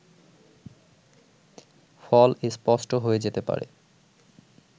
ফল স্পষ্ট হয়ে যেতে পারে